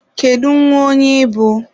Kedu nwa onye ị bụ?